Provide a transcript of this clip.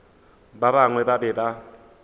ba bangwe ba be ba